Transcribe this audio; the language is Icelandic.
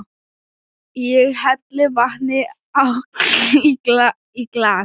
Ég helli vatni í glas.